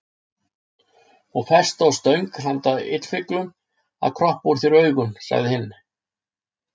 Og festa á stöng handa illfyglum að kroppa úr þér augum, sagði hinn.